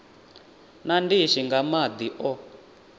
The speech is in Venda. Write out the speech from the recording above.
na ndishi nga madi o